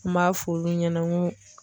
N b'a f'olu ɲɛna n ko